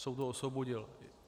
Soud ho osvobodil.